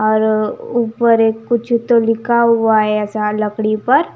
और ऊपर एक कुछ तो लिखा हुआ है ऐसा लकड़ी पर.